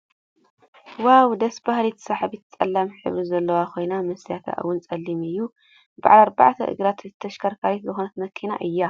ዋው ደስ ብሃሊት ስሓቢት ፀሊም ሕብሪ ዘለዋ ኮይና መስትያታ እውን ፀሊም እዩ። ብዓል ኣርባዕተ እግሪ ተሽከርካሪት ዝኮነት መኪና እያ ።